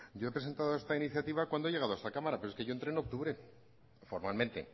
yo he presentado esta iniciativa cuando he llegado a esta cámara pero es que yo entré en octubre formalmente